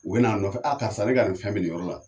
U bɛ na nɔfɛ karisa bɛ ka na nin fɛn minɛ yɔrɔ la.